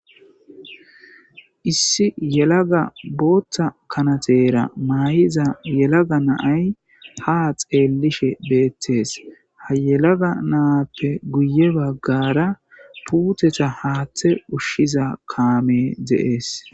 Issi yelaga booththa kanatera may'iza yelaga naay ha xeellishe beettees ha yelaga naappe guye baggara puutetha haaththe ushshiza kaame deees.